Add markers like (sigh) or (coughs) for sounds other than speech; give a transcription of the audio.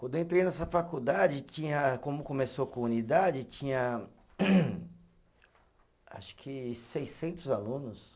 Quando eu entrei nessa faculdade tinha, como começou com unidade, tinha (coughs) acho que seiscentos alunos.